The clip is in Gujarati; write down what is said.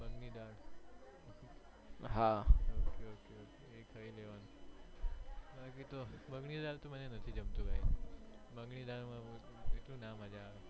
મગ ની દાળ હમ્મ ok ok એ ખાલી લેવાનું મગ ની દાળ મને તો નથી જમતું ભાઈ મગ ની દાળ માં એટલું ના મજ્જા આવે